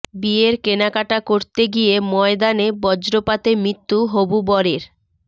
বিয়ের কেনাকাটা করতে গিয়ে ময়দানে বজ্রপাতে মৃত্যু হবু বরের